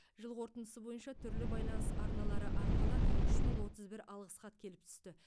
жыл қорытындысы бойынша түрлі байланыс арналары арқылы үш мың отыз бір алғыс хат келіп түсті